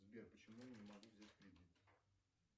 сбер почему я не могу взять кредит